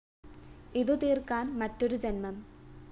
ഇതു തീര്‍ക്കാന്‍ മറ്റൊരു ജന്മം